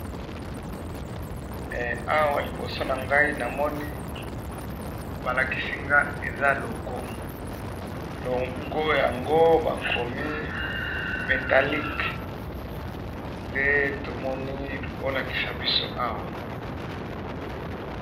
awa liboso na ngai na moni balakisi nga eza logo logo yango bakomi metallike nde tomoni bolakisa biso awa